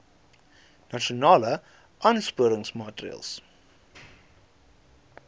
nasionale aansporingsmaatre ls